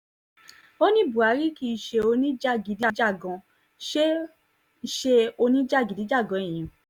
ó ní buhari kì í ṣe oníjàgíd íjàgan ṣe ṣe oníjàgídíjàgan èèyàn